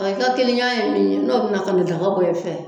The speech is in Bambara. I ka kelenya in n'o bɛ na ka na dɔgɔ bɔ i fɛ